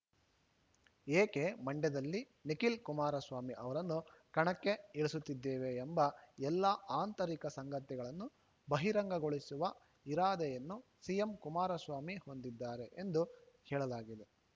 ಏಕೆ ಮಂಡ್ಯದಲ್ಲಿ ನಿಖಿಲ್‌ ಕುಮಾರಸ್ವಾಮಿ ಅವರನ್ನು ಕಣಕ್ಕೆ ಇಳಿಸುತ್ತಿದ್ದೇವೆ ಎಂಬ ಎಲ್ಲಾ ಆಂತರಿಕ ಸಂಗತಿಗಳನ್ನು ಬಹಿರಂಗಗೊಳಿಸುವ ಇರಾದೆಯನ್ನು ಸಿಎಂ ಕುಮಾರಸ್ವಾಮಿ ಹೊಂದಿದ್ದಾರೆ ಎಂದು ಹೇಳಲಾಗಿದೆ